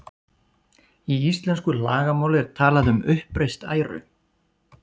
Í íslensku lagamáli er talað um uppreist æru.